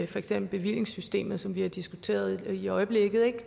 for eksempel bevillingssystemet som vi diskuterer i øjeblikket